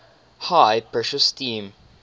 high pressure steam